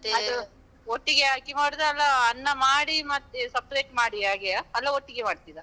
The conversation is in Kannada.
ಅದು ಒಟ್ಟಿಗೆ ಹಾಕಿ ಮಾಡುದಾ? ಅಲ್ಲ ಅನ್ನ ಮಾಡಿ ಮತ್ತೆ separate ಮಾಡಿ ಹಾಗೆಯಾ? ಅಲ್ಲ ಒಟ್ಟಿಗೆ ಮಾಡ್ತಿರ?